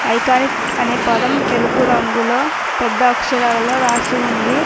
Iconic అనే పదం తెలుపు రంగులో పెద్ద అక్షరాలలో రాసి ఉంది.